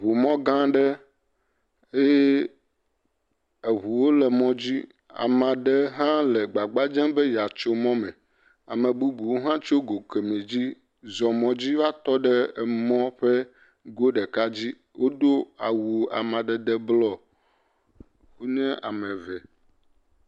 Ŋu mɔ gã aɖe, eye eŋuwo le mɔ dzi, amea ɖe hã le gbagba dzem be yeatso mɔa me, ame bubuwo hã tso go kemɛ dzi zɔ mɔ dzi va tɔ ɖe mɔ ƒe go ɖeka dzi. Wodo awu amadede blɔ. Wonye ame ve.